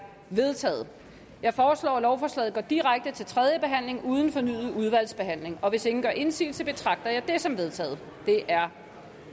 vedtaget jeg foreslår at lovforslaget går direkte til tredje behandling uden fornyet udvalgsbehandling hvis ingen gør indsigelse betragter jeg det som vedtaget det er